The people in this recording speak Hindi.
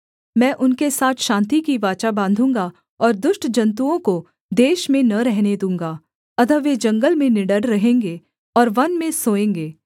मैं उनके साथ शान्ति की वाचा बाँधूँगा और दुष्ट जन्तुओं को देश में न रहने दूँगा अतः वे जंगल में निडर रहेंगे और वन में सोएँगे